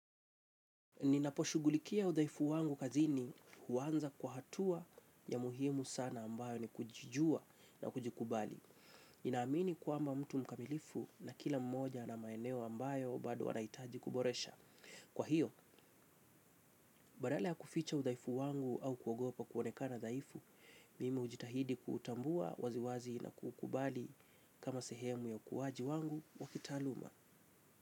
Ninaposhugulikia udhaifu wangu kazini uwanza kwa hatua ya muhimu sana ambayo ni kujijua na kujikubali. Ninaamini kuamba mtu mkamilifu na kila mmoja ana maeneo ambayo bado anaitaji kuboresha. Kwa hiyo, badala ya kuficha udhaifu wangu au kuogopa kuonekana dhaifu, mimi ujitahidi kutambua waziwazi na kukubali kama sehemu ya ukuwaji wangu wakitaluma.